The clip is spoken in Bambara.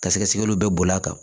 Ka sɛgɛsɛgɛliw bɛɛ bɔr'a kan